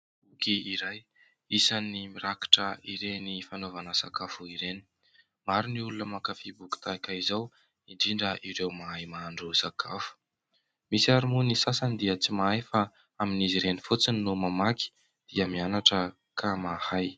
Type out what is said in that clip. Boky iray isan'ny mirakitra ireny fanaovana sakafo ireny. Maro ny olona mankafy boky tahaka izao indrindra ireo mahay mahandro sakafo, misy ary moa ny sasany dia tsy mahay fa amin'izy ireny fotsiny no mamaky dia mianatra ka mahay.